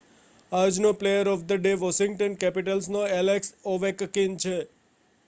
આજનો player of the day Washington કેપિટલ્સનો Alex Ovechkin છે